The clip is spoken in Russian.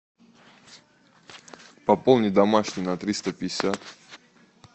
пополни домашний на триста пятьдесят